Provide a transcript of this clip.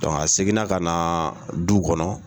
seginna ka na du kɔnɔ